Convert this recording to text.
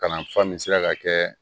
Kalanfa min sera ka kɛ